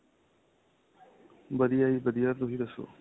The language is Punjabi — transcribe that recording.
ਵਧੀਆ ਜ਼ੀ ਵਧੀਆ ਤੁਸੀਂ ਦਸੋ